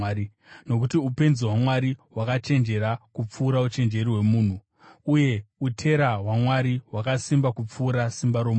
Nokuti upenzi hwaMwari hwakachenjera kupfuura uchenjeri hwomunhu, uye utera hwaMwari hwakasimba kupfuura simba romunhu.